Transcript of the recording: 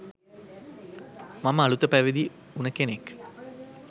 මම අලුත පැවිදි වුණ කෙනෙක්,